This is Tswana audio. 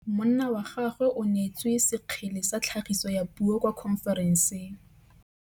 Monna wa gagwe o neetswe sekgele sa tlhagisô ya puo kwa khonferenseng.